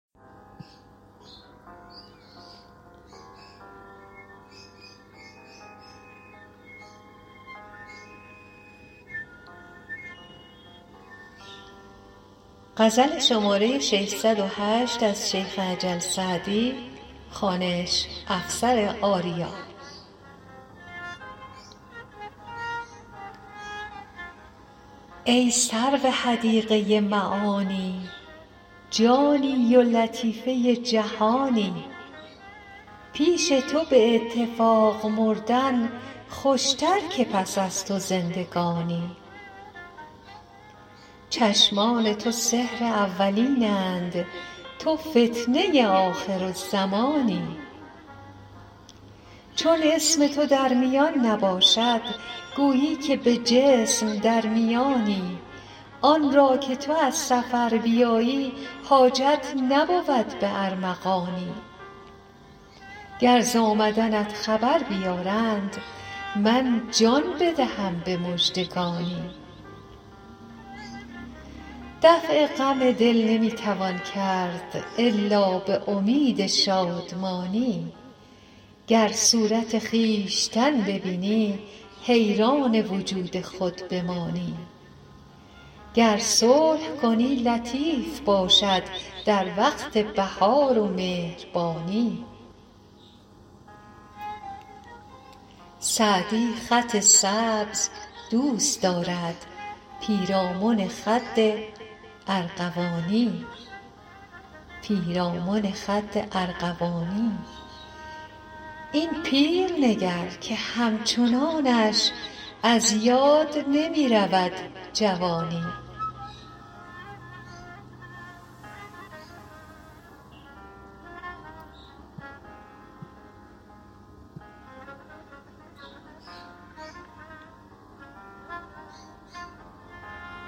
ای سرو حدیقه معانی جانی و لطیفه جهانی پیش تو به اتفاق مردن خوشتر که پس از تو زندگانی چشمان تو سحر اولین اند تو فتنه آخرالزمانی چون اسم تو در میان نباشد گویی که به جسم در میانی آن را که تو از سفر بیایی حاجت نبود به ارمغانی گر ز آمدنت خبر بیارند من جان بدهم به مژدگانی دفع غم دل نمی توان کرد الا به امید شادمانی گر صورت خویشتن ببینی حیران وجود خود بمانی گر صلح کنی لطیف باشد در وقت بهار و مهربانی سعدی خط سبز دوست دارد پیرامن خد ارغوانی این پیر نگر که همچنانش از یاد نمی رود جوانی